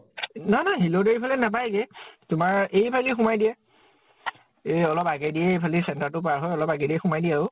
নাই নাই । শিলদৈ ফালে নাপায় গে । তোমাৰ এইফালেদি সোমাই দিয়ে । এই অলপ আগেদিয়ে ইফালে center তো পাৰ হৈ অলপ আগেদিয়ে সোমাই দিয়ে আৰু ।